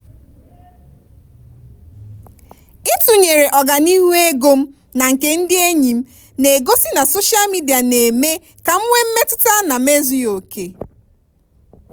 ịtụnyere ọganihu ego m na nke ndị enyi m na-egosi na soshal midia na-eme ka m nwee mmetụta na m ezughị oke.